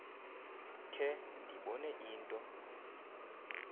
khe ndibone into